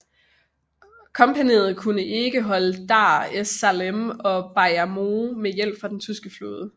Kompagniet kunne kun holde Dar es Salaam og Bagamoyo med hjælp fra den tyske flåde